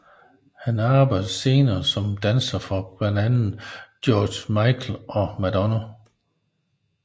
Han arbejdede senere som danser for blandt andet George Michael og Madonna